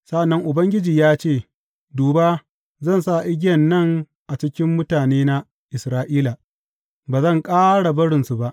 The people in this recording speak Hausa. Sa’an nan Ubangiji ya ce, Duba, zan sa igiyan nan a cikin mutanena Isra’ila; ba zan ƙara barinsu ba.